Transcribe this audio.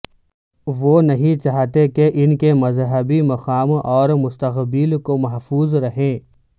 وہ نہیں چاہتے کہ ان کے مذہبی مقام اور مستقبل کو محفوظ رہیں